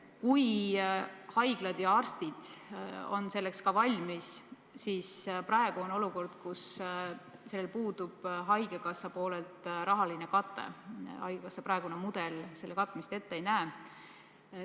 Kui haiglad ja arstid on selleks ka valmis, siis praeguses olukorras puudub haigekassa poolelt rahaline kate, haigekassa praegune mudel selle katmist ette ei näe.